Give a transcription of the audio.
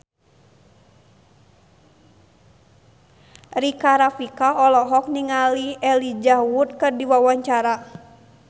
Rika Rafika olohok ningali Elijah Wood keur diwawancara